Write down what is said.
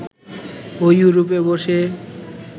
ও ইউরোপে বসে